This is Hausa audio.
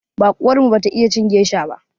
Baƙuwar mu bata iya cin gesha ba.